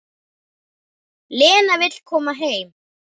Lena vill koma heim.